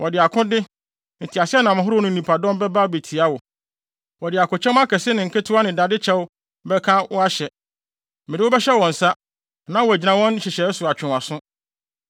Wɔde akode, nteaseɛnam ahorow ne nnipadɔm bɛba abetia wo; wɔde akokyɛm akɛse ne nketewa ne dade kyɛw bɛka wo ahyɛ. Mede wo bɛhyɛ wɔn nsa, na wɔagyina wɔn nhyehyɛe so atwe wo aso.